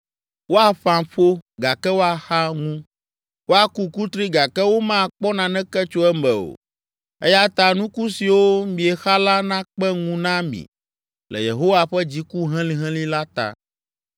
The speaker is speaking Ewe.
Woaƒã ƒo gake woaxa ŋu, woaku kutri gake womakpɔ naneke tso eme o. Eya ta, nuku siwo miexa la nakpe ŋu na mi le Yehowa ƒe dziku helĩhelĩ la ta.”